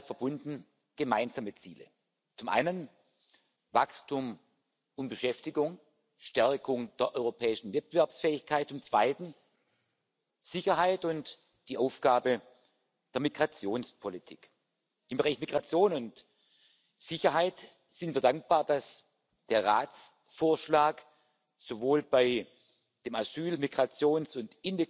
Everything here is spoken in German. wird. Wir wissen darum, dass es beim Thema Finanzierung des Türkei EU Abkommens in der zweiten Tranche Unterschiede zwischen Parlament und Rat geben wird. Wir sollten hier kompromissbereit sein in der Frage, eine Milliarde oder zwei Milliarden oder eine Aufteilung zwischen dem Haushalt